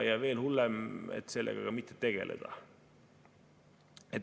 … ja veel hullem, et sellega mitte tegeleda.